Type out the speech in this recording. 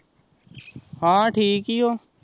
ਹਾ ਠੀਕ ਹੀ ਹੋ